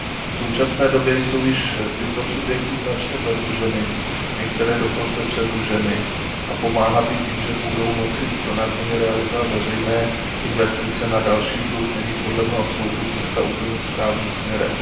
V současné době jsou již tyto subjekty značně zadluženy, některé dokonce předluženy a pomáhat jim tím, že budou moci snadněji realizovat veřejné investice na další dluh, není podle mého soudu cesta úplně správným směrem.